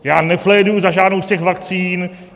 Já nepléduji za žádnou z těch vakcín.